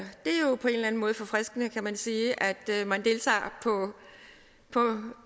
det er en måde forfriskende kan man sige at man deltager på